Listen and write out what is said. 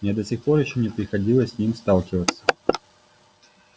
мне до сих пор ещё не приходилось с ним сталкиваться